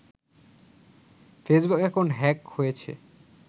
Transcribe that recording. Facebook account hack হয়েছে